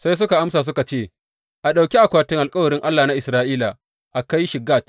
Sai suka amsa suka ce, A ɗauki akwatin alkawarin Allah na Isra’ila a kai shi Gat.